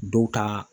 Dɔw ta